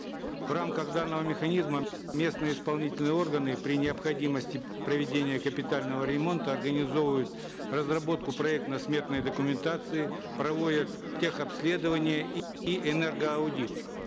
в рамках данного механизма местные исполнительные органы при необходимости проведения капитального ремонта организовывают разработку проектно сметной документации проводят тех обследование и энергоаудит